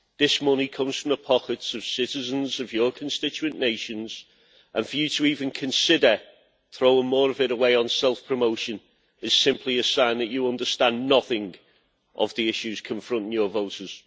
This money comes from the pockets of citizens of your constituent nations and for you to even consider throwing more of it away on self-promotion is simply a sign that you understand nothing of the issues confronting your voters.